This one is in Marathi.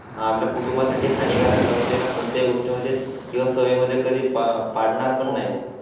आपल्या कुटुंबा साठी हानिकारक असलेल्या कोणत्याही गोष्टी मध्ये किंवा सवयी मध्ये कधी पार्टनर पण नाही.